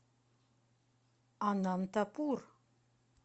анантапур